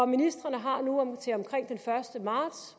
ministrene har nu til omkring den første marts